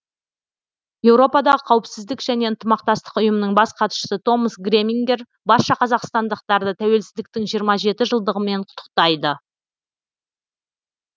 еуропадағы қауіпсіздік және ынтымақтастық ұйымының бас хатшысы томас гремингер барша қазақстандықтарды тәуелсіздіктің жиырма жеті жылдығымен құттықтайды